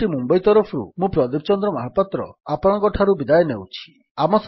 IIT Mumbai ତରଫରୁ ମୁଁ ପ୍ରଦୀପ ଚନ୍ଦ୍ର ମହାପାତ୍ର ଆପଣଙ୍କଠାରୁ ବିଦାୟ ନେଉଛି